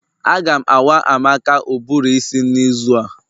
A ga awa Amaka ụbụrụ isi n'izu a